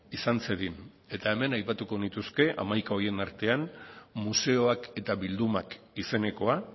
izan zedin hemen aipatuko nituzke hamaika horien artean museoak eta bildumak izenekoa